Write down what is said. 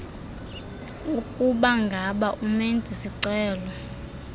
ukubangaba umenzi sicelo